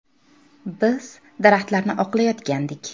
“Biz daraxtlarni oqlayotgandik.